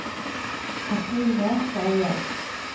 Cathrine Skeie